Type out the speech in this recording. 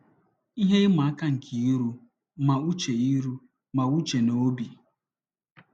Ihe ịma aka nke iru ma n'uche iru ma n'uche na obi